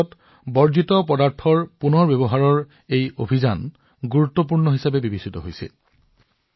আজি যেতিয়া ভাৰতে পুতলা নিৰ্মাণত বহু দূৰ আগবাঢ়ি গৈছে আৱৰ্জনাৰ পৰা মূল্যৰ এই অভিযানৰ অভিনৱ প্ৰয়োগে যথেষ্ট গুৰুত্ব লাভ কৰিছে